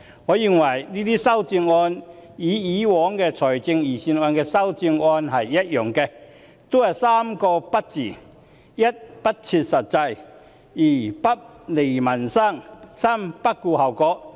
我認為這些修正案與過往財政預算案的修正案一樣，都是3個"不"字：一，不切實際；二，不利民生；三，不顧後果。